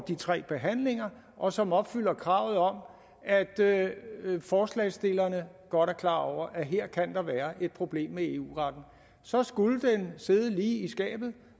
de tre behandlinger og som opfylder kravet om at forslagsstillerne godt er klar over at her kan der være et problem med eu retten så skulle den sidde lige i skabet